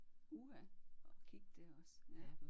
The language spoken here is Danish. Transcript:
Uha at kigge der også ja